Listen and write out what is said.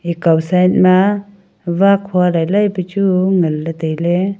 ekaw side ma wakhua lailai pe chu nganley tailey.